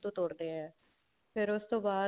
ਤੋੜਦੇ ਹਾਂ ਫ਼ਰ ਉਸ ਤੋਂ ਬਾਅਦ